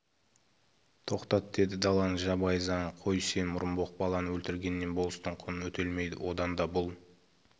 тоқтат деді даланың жабайы заңын қой сен мұрынбоқ баланы өлтіргеннен болыстың құны өтелмейді одан да бұл